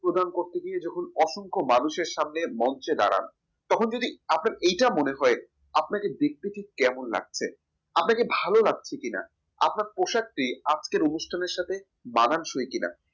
সম্বোধন করতে গিয়ে যখন অসংখ্য মানুষের সামনে মঞ্চে দাঁড়ানো তখন যদি আপনার এটা মনে হয় আপনারা দেখতে ঠিক কেমন লাগছে আপনাকে ভালো লাগছে কিনা আপনার পোশাকটি আজকের অনুষ্ঠানের সাথে মানানসই কিনা